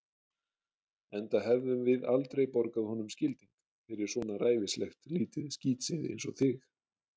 Enda hefðum við aldrei borgað honum skilding fyrir svona ræfilslegt lítið skítseiði einsog þig.